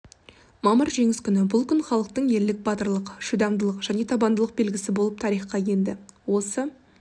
мамыр жеңіс күні бұл күн халықтың ерлік батырлық шыдамдылық және табандылық белгісі болып тарихқа енді осы